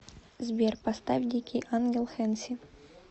сбер поставь дикий ангел хэнси